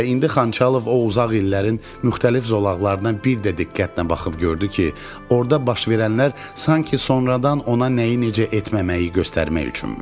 Və indi Xançalov o uzaq illərin müxtəlif zolaqlarına bir də diqqətlə baxıb gördü ki, orda baş verənlər sanki sonradan ona nəyi necə etməməyi göstərmək üçünmüş.